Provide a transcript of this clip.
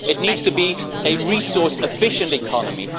It needs to be a resource efficient economy.